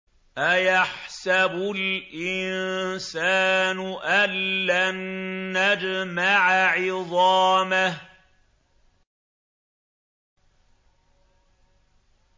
أَيَحْسَبُ الْإِنسَانُ أَلَّن نَّجْمَعَ عِظَامَهُ